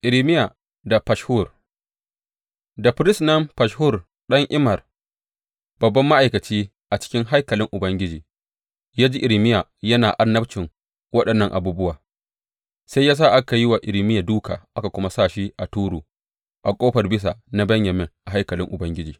Irmiya da Fashhur Da firist nan Fashhur ɗan Immer, babban ma’aikaci a cikin haikalin Ubangiji, ya ji Irmiya yana annabcin waɗannan abubuwa, sai ya sa aka yi wa Irmiya dūka aka kuma sa shi a turu a Ƙofar Bisa na Benyamin a haikalin Ubangiji.